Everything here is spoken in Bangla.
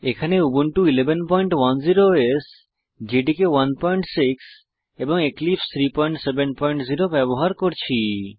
এখানে উবুন্টু 1110 ওএস জেডিকে 16 এবং এক্লিপসে 370 ব্যবহার করছি